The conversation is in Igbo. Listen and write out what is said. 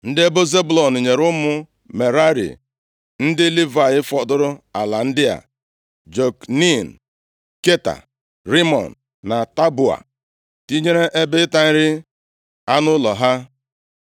Ndị ebo Zebụlọn nyere ụmụ Merari ndị Livayị fọdụrụ ala ndị a: Jokneam, Kata, Rimọn na Taboa, tinyere ebe ịta nri anụ ụlọ ha.